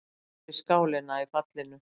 Hún missti skálina í fallinu.